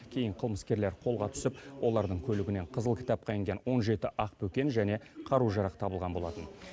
кейін қылмыскерлер қолға түсіп олардың көлігінен қызыл кітапқа енген он жеті ақбөкен және қару жарақ табылған болатын